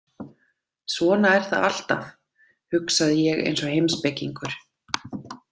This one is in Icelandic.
Svona er það alltaf, hugsaði ég eins og heimspekingur.